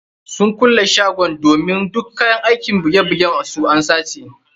Sun kulle shagon domin duk kayan aikin buge bugen su an sace.